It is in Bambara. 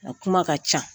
A kuma ka ca